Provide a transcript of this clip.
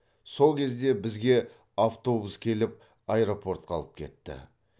сол кезде бізге автобус келіп аэропортқа алып кетті